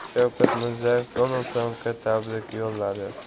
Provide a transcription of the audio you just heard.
Shavkat Mirziyoyev Donald Trampga tabrik yo‘lladi.